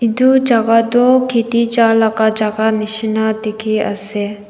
edu jaka toh khiti jalaka jaka nishina dikhiase.